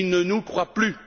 Ils ne nous croient plus.